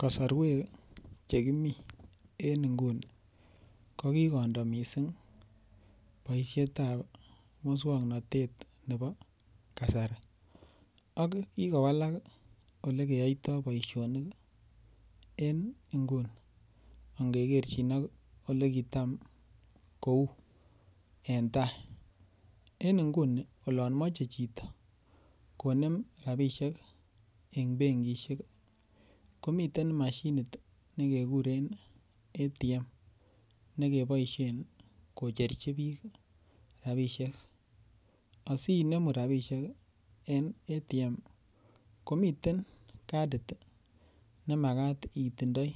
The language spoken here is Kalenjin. Kasarwek chekimi en nguni kokikondo mising' boishetab muswong'natet nebo kasari ak kikowalak ole keyoitoi boishonik en nguni ngekerchin ak ole kitam kou en tai en nguni olon mochei chito konem rabishek eng' benkishek komiten mashinit nekekuren ATM nekeboishen kocherchi biik robishek asiinemu rabishek en ATM komiten kadit nemakat itindioi